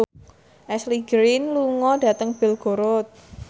Ashley Greene lunga dhateng Belgorod